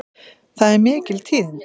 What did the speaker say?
Það eru mikil tíðindi!